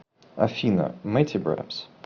афина мэтибрапс